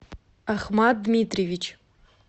ахмат дмитриевич